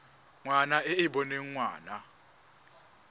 ngwana e e boneng ngwana